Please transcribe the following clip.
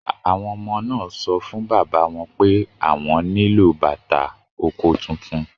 Àwọn ọmọ náà sọ fún bàbá wọn pé àwọn nílò bàtà oko tuntun